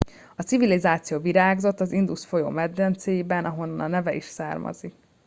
a civilizáció virágzott az indus folyó medencéiben ahonnan a neve is származik